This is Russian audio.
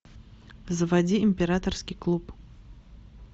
заводи императорский клуб